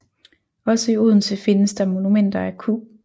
Også i Odense findes der monumenter af Q